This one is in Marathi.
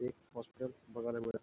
एक हॉस्टेल बघायला मिळत--